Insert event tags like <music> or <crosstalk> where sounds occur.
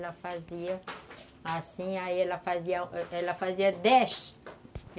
Ela fazia assim, aí ela <unintelligible> fazia dez.